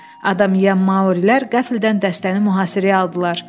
Adam yeyən Maurilər qəfildən dəstəni mühasirəyə aldılar.